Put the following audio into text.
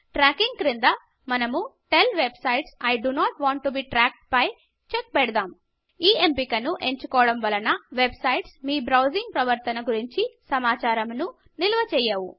tracking క్రింద మనము tell websites I do not want to be tracked పై check పెడదాం ఈ ఎంపికను ఎంచుకోవడం వలన వెబ్సైట్స్ మీ బ్రౌజింగ్ ప్రవర్తన గురించి సమాచారమును నిల్వ చేయవు